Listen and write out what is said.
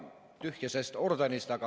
Tühja sest ordenist.